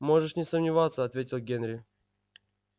можешь не сомневаться ответил генри